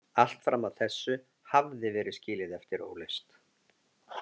Allt fram að þessu hafði verið skilið eftir óleyst.